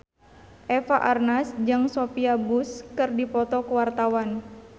Eva Arnaz jeung Sophia Bush keur dipoto ku wartawan